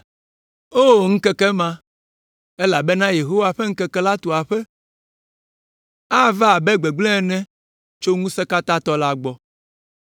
O ŋkeke ma! Elabena Yehowa ƒe ŋkeke la tu aƒe. Ava abe gbegblẽ ene tso Ŋusẽkatãtɔ la gbɔ.